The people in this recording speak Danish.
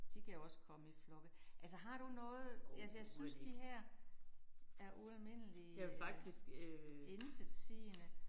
De kan jo også komme i flokke altså har du noget altså jeg synes de her er ualmindeligt intetsigende